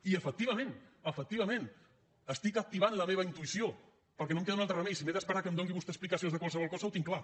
i efectivament efectivament estic activant la meva intuïció perquè no em queda un altre remei si m’he d’esperar que em doni vostè explicacions de qualsevol cosa ho tinc clar